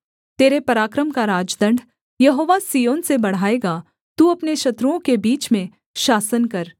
तेरे पराक्रम का राजदण्ड यहोवा सिय्योन से बढ़ाएगा तू अपने शत्रुओं के बीच में शासन कर